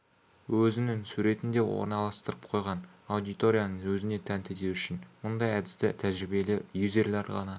өзінің суретін де орналастырып қойған аудиторияны өзіне тәнті ету үшін мұндай әдісті тәжірибелі юзерлер ғана